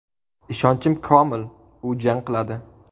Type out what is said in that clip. Ishonchim komil, u jang qiladi.